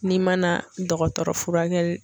N'i ma na dɔgɔtɔrɔ furakɛli.